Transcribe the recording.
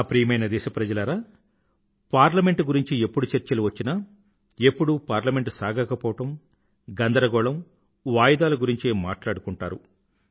నా ప్రియమైన దేశప్రజలారా పార్లమెంట్ గురించి ఎప్పుడు చర్చలు వచ్చినా ఎప్పుడూ పార్లమెంట్ సాగకపోవడం గందరగోళం వాయిదాలు గురించే మాట్లాడుకుంటారు